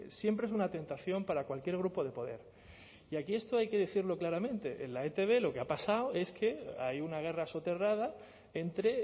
siempre es una tentación para cualquier grupo de poder y aquí esto hay que decirlo claramente en la etb lo que ha pasado es que hay una guerra soterrada entre